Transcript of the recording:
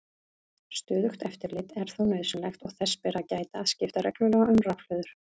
Stöðugt eftirlit er þó nauðsynlegt og þess ber að gæta að skipta reglulega um rafhlöður.